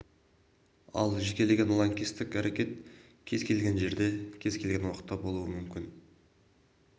ал жекелеген лаңкестік әрекет кез келген жерде кез келген уақытта болуы мүмкін